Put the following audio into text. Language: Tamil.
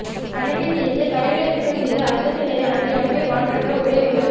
கணக்கைத் தீர்த்துக் கறைகளை சுத்தம் செய்து அச்சத்தை நிலை நாட்டி அன்பை மாற்றற்ற ஒரே ஒரு